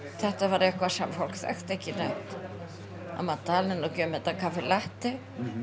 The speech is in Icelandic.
þetta var eitthvað sem fólk þekkti ekki neitt að maður tali nú ekki um þetta kaffi latte